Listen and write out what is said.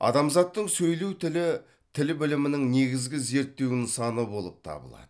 адамзаттың сөйлеу тілі тіл білімінің негізгі зерттеу нысаны болып табылады